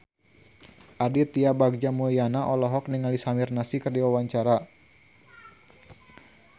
Aditya Bagja Mulyana olohok ningali Samir Nasri keur diwawancara